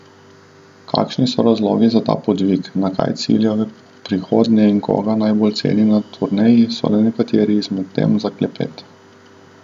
Kakšni so razlogi za ta podvig, na kaj cilja v prihodnje in koga najbolj ceni na turneji so le nekatere izmed tem za klepet.